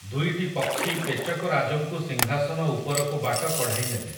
ଦୁଇଟି ପକ୍ଷୀ ପେଚକରାଜଙ୍କୁ ସିଂହାସନ ଉପରକୁ ବାଟ କଢ଼ାଇ ନେଲେ ।